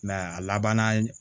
a labanna